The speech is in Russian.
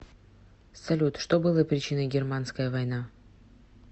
салют что было причиной германская война